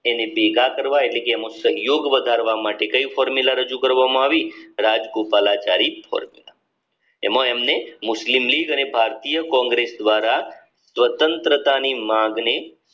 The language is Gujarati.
એને ભેગા કરવા એટલે કે સહયોગ વધારવા માટે કયું ફોર્મુલા રજૂ કરવામાં આવી રાજગોપાલાચારી એમાં એમને મુસ્લિમ લીગ અને ભારતીય કોંગ્રેસ દ્વારા સ્વતંત્રતાની માગણી